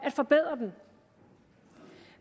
at forbedre dem